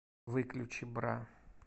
выключи бра